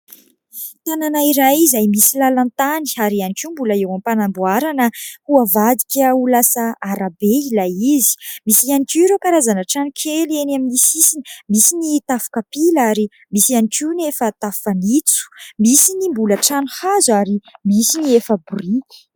Tanàna iray izay misy lalan-tany ary ihany koa mbola eo am-panamboarana ho avadika ho lasa arabe ilay izy. Misy ihany koa ireo karazana trano kely eny amin'ny sisiny : misy ny tafo kapila, ary misy ihany koa ny efa tafo fanitso ; misy ny mbola trano hazo, ary misy ny efa biriky.